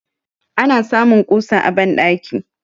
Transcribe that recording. ana samun kusa a bandaki